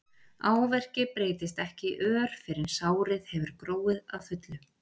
áverki breytist ekki í ör fyrr en sárið hefur gróið að fullu